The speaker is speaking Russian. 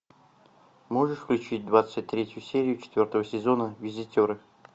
можешь включить двадцать третью серию четвертого сезона визитеры